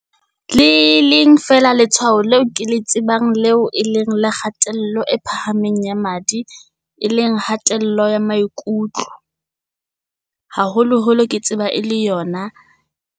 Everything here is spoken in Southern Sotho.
Le leng fela letshwao leo ke le tsebang leo e leng la kgatello e phahameng ya madi, e leng hatella ya maikutlo. Haholo holo ke tseba e le yona.